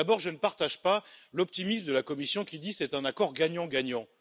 D'abord, je ne partage pas l'optimisme de la Commission, qui dit que c'est un accord gagnant gagnant.